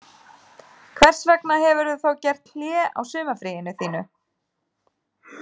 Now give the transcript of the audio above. Hvers vegna hefurðu þá gert hlé á sumarfríinu þínu